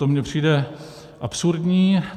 To mně přijde absurdní.